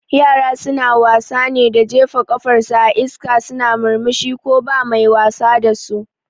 Yara suna wasa ne da jefa kafar su a iska suna murmushi ko ba mai wasa dasu